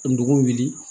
Ka dugu wuli